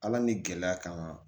Ala ni gɛlɛya kama